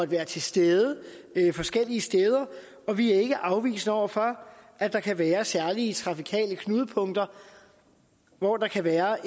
være til stede forskellige steder og vi er ikke afvisende over for at der kan være særlige trafikale knudepunkter hvor der kan være